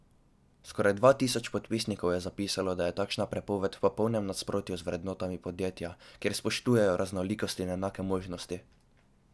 Občine so kot ustanoviteljice javnih vrtcev in devetletk glavne financerke njihovih naložb.